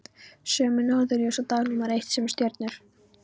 Sömu norðurljós og dag númer eitt, sömu stjörnur.